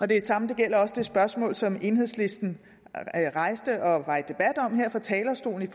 det samme gælder det spørgsmål som enhedslisten rejste og var i debat om her fra talerstolen